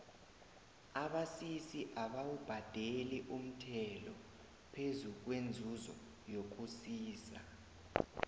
abasisi abawubhadeli umthelo phezu kwenzuzo yokusisa